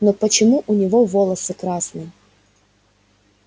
но почему у него волосы красные